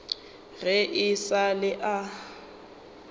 ge e sa le a